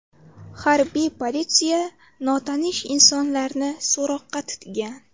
Harbiy politsiya notanish insonlarni so‘roqqa tutgan.